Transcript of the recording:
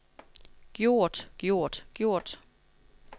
gjort gjort gjort